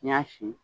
N y'a si